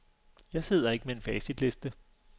Jeg sidder ikke med en facitliste.